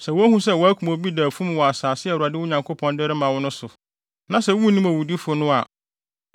Sɛ wohu sɛ wɔakum obi da afum wɔ asase a Awurade, mo Nyankopɔn, de rema mo no so, na sɛ munnim owudifo no a,